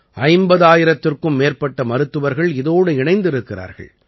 50000த்திற்கும் மேற்பட்ட மருத்துவர்கள் இதோடு இணைந்திருக்கிறார்கள்